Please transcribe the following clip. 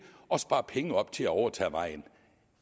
og spare penge op til at overtage vejen